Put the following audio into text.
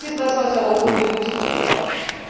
Das ist das, was Europa für die Zukunft braucht.